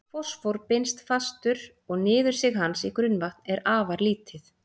Fosfór binst fastur og niðursig hans í grunnvatn er afar lítið.